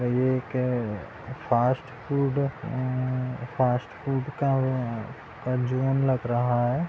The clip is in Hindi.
ये एक फास्ट -फूड अ फास्ट-फूड का अ का जोन लग रहा है।